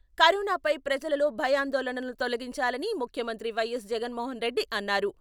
కరోనాపై ప్రజలలో భయాందోళనలను తొలగించాలని ముఖ్యమంత్రి వైఎస్ జగన్మోహన్ రెడ్డి అన్నారు.